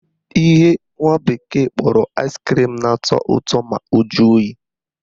Ihe nwa bekee kpọrọ ice cream na-atọ ụtọ ma o jụọ oyi